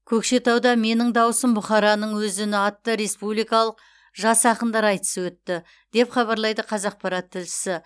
көкшетауда менің дауысым бұхараның өз үні атты республикалық жас ақындар айтысы өтті деп хабарлайды қазақпарат тілшісі